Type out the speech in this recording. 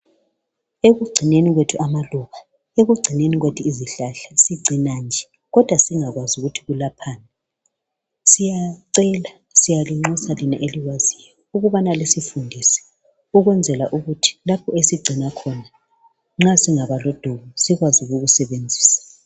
Ekuhlanyeleni kwethu amaluba lezihlahla sihlanyela nje singayazi ukuthi ziyelaphani. Siyacela njalo siyanxusa labo abalolwazi ukuthi basifundise ukuyenzela ukuthi singaba lodubo sikwazi ukuzisebenzisa.